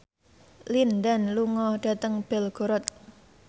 Lin Dan lunga dhateng Belgorod